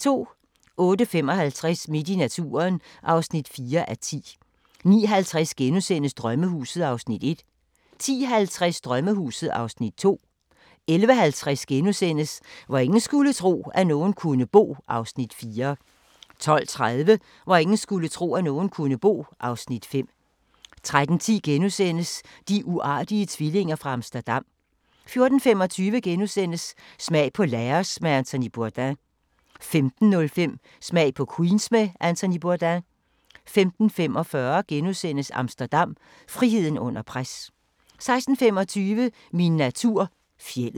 08:55: Midt i naturen (4:10) 09:50: Drømmehuset (Afs. 1)* 10:50: Drømmehuset (Afs. 2) 11:50: Hvor ingen skulle tro, at nogen kunne bo (Afs. 4)* 12:30: Hvor ingen skulle tro, at nogen kunne bo (Afs. 5) 13:10: De uartige tvillinger fra Amsterdam * 14:25: Smag på Laos med Anthony Bourdain * 15:05: Smag på Queens med Anthony Bourdain 15:45: Amsterdam – friheden under pres * 16:25: Min natur - fjeldet